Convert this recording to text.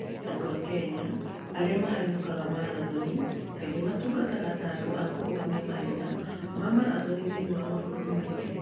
Andũ a Kenya arĩa mahanyũkaga marathoni kaingĩ matungataga ta andũ a kũrũgamia mahenya ma marathoni thĩinĩ wa mabũrũri mangĩ.